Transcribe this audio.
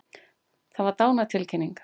Það var dánartilkynning.